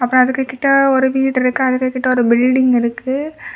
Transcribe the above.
அப்ரோ அதுக்கு கிட்ட ஒரு வீடு இருக்கு. அதுக்கு கிட்ட ஒரு பில்டிங் இருக்கு.